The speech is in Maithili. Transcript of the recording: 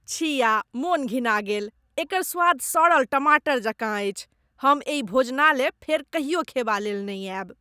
छिया! मन घिना गेल ! एकर स्वाद सड़ल टमाटर जकाँ अछि, हम एहि भोजनालय फेर कहियो खयबालेल नहि आयब।